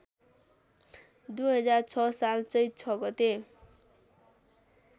२००६ साल चैत ६ गते